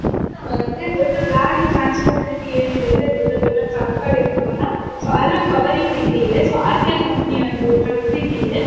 ನೋಡೋದು ಆದ್ರೆ ದೊಡ್ಡ್ ಗಾಡಿ ಟ್ರಾನ್ಸ್ಪೋರ್ಟ್ ರೀತಿ ಏನ್ ಇರುತ್ತೆ ದೊಡ್ಡ್ ದೊಡ್ಡ್ ಟ್ರಕ್ ಗಳ್ ಇರ್ತಾವ ಅಲ ಸೊ ಅದರ ಕವರಿಂಗ್ ರೀತಿ ಇದೆ. ಸೊ ಅಸೆಲ್ ಕಂಪನಿ ಒಂದು ಟ್ರಕ್ ರೀತಿ ಇದೆ.